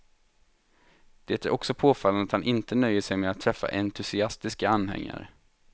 Det är också påfallande att han inte nöjer sig med att träffa entusiastiska anhängare.